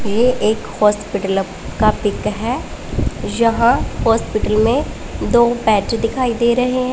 ये एक हॉस्पिटल का पिक है यहां हॉस्पिटल में दो बेड दिखाई दे रहे हैं।